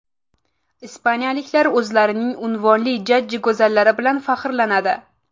Ispaniyaliklar o‘zlarining unvonli jajji go‘zallari bilan faxrlanadi.